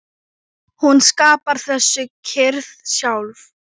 Hún skapar þessa kyrrð sjálf.